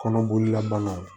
Kɔnɔboli la banaw